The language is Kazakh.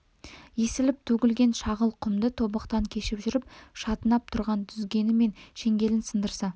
есіліп төгілген шағыл құмды тобықтан кешіп жүріп шатынап тұрған дүзгені мен шеңгелін сындырса